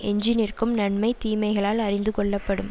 எஞ்சி நிற்கும் நன்மை தீமைகளால் அறிந்து கொள்ளப்படும்